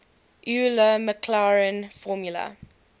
euler maclaurin formula